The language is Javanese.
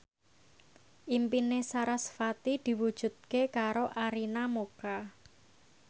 impine sarasvati diwujudke karo Arina Mocca